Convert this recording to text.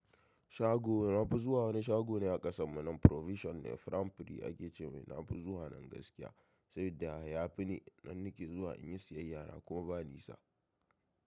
Shago, na fi zuwa wani shago ne a ƙasan mu nan provison ne. Framfri ake ce mai. Na fi zuwa nan gaskiya, saboda ya fi, ni nan nake zuwa in yi siyayya na kuma ba ni sa.